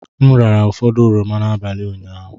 M rara ụfọdụ oroma n'abalị ụnyaahụ.